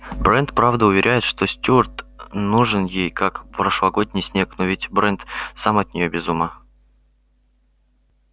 брент правда уверяет что стюарт нужен ей как прошлогодний снег но ведь брент сам от неё без ума